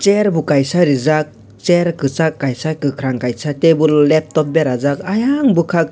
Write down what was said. chair bo kaisa reejak chair kasak kaisa kakarang kaisa table laptop berajak aiang bwkak--